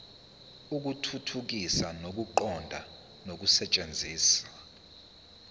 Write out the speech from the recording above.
ukuthuthukisa ukuqonda nokusetshenziswa